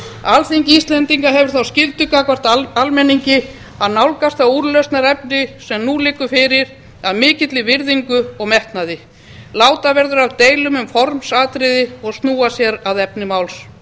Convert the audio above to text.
alþingi íslendinga hefur þá skyldu gagnvart almenningi að nálgast það úrlausnarefni sem nú liggur fyrir af mikilli virðingu og metnaði láta verður af deilum um formsatriði og snúa sér að efni máls